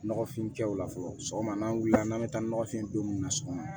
Nɔgɔfin kɛw la fɔlɔ sɔgɔma n'an wulila n'an bɛ taa nɔgɔfin don mun na sɔgɔma